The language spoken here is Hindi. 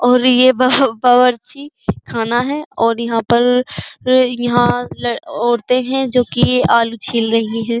और यह बाबर बावर्ची खाना हैं और यहां पर यहां औरते हैं जो कि आलू छिल रही हैं।